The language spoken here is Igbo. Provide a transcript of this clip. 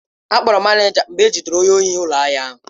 Akpọrọ manịja mgbe ejidere onye ohi n'ụlọ ahịa ahụ.